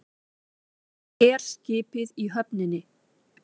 Og herskipið í höfninni.